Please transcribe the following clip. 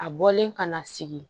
A bɔlen kana sigi